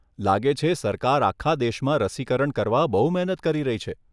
લાગે છે સરકાર આખા દેશમાં રસીકરણ કરવા બહુ મહેનત કરી રહી છે.